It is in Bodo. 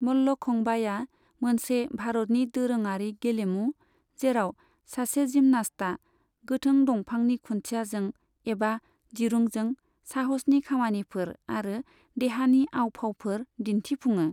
मल्लखंबाया मोनसे भारतनि दोरोङारि गेलेमु जेराव सासे जिमनास्टा गोथों दंफांनि खुन्थियाजों एबा दिरुंजों साहसनि खामानिफोर आरो देहानि आव फावफोर दिन्थिफुङो।